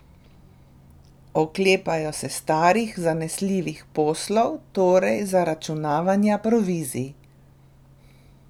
Oklepajo se starih, zanesljivih poslov, torej zaračunavanja provizij.